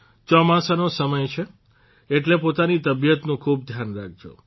ચોમાસાનો સમય છે એટલે પોતાની તબિયતનું ખૂબ ધ્યાન રાખજો